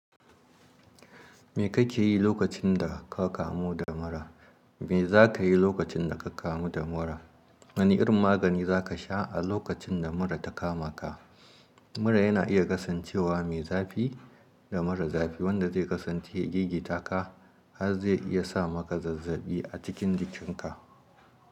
Me kake yi lokacin da ka kamu da mura? Me za ka yi lokacin da ka kamu da mura? Wane irin magani za ka sha a lokacin da mura ta kama ka? Mura yana iya kasancewa mai zafi da mura zafi wanda zai kasance gigita ka har zai iya sa maka zazzaɓi a cikin jikinka.